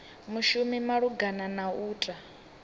mushumi malugana na u ta